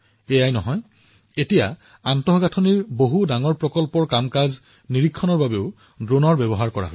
তদুপৰি আন্তঃগাঁথনিৰ বহুতো মুখ্য প্ৰকল্প নিৰীক্ষণৰ বাবে এতিয়া ড্ৰোন ব্যৱহাৰ কৰা হৈছে